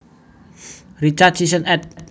Richard Sisson ed